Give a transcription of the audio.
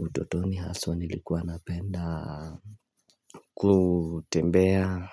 Utotoni haswa nilikuwa napenda kutembea